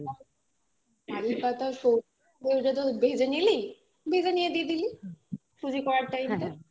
কারিপাতা আর সর্ষে দুটো ভেজে নিলি ভেজে নিয়ে দিয়ে দিলি সুজি করার time টা এ